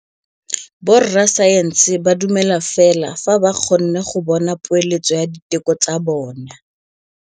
Borra saense ba dumela fela fa ba kgonne go bona poeletsô ya diteko tsa bone.